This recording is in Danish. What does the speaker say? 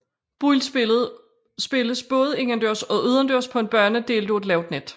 Boldspillet spilles både indendørs og udendørs på en bane delt af et lavt net